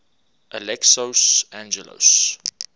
alexios angelos